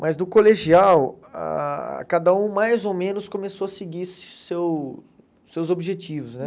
Mas do colegial, ah cada um mais ou menos começou a seguir seu seus objetivos, né?